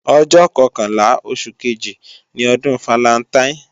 Ọjọ́ kọkànlá oṣù kejì ni ọdún falantaín